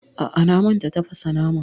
A'a, na manta tafasa naman